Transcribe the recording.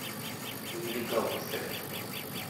нелегал поставь